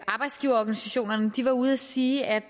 arbejdsgiverorganisationerne var ude at sige at